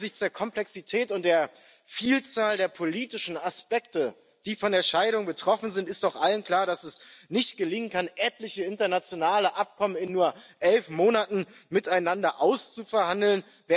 Angesichts der Komplexität und der Vielzahl der politischen Aspekte, die von der Scheidung betroffen sind, ist doch allen klar, dass es nicht gelingen kann, etliche internationale Abkommen in nur elf Monaten miteinander auszuverhandeln.